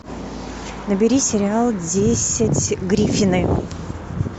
набери сериал десять гриффины